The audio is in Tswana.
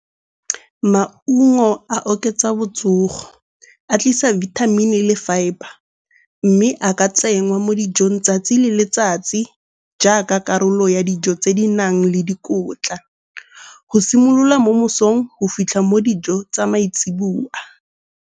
Maungo a oketsa botsogo, a tlisa bithamini le fibre. Mme a ka tsenngwa mo dijong 'tsatsi le letsatsi jaaka karolo ya dijo tse di nang le dikotla. Go simolola mo mosong go fitlha mo dijong tsa maitsiboa.